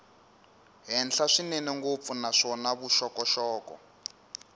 henhla swinene ngopfu naswona vuxokoxoko